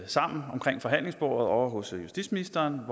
sammen omkring forhandlingsbordet ovre hos justitsministeren